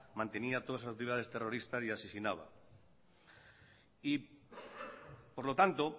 mantenía todos sus actividades terroristas y asesinaba y por lo tanto